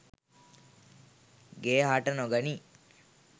ගෙය හට නොගනියි.